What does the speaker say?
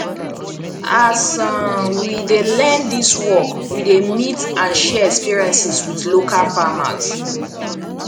as um we dey learn dis work we dey meet and share experiences with local farmers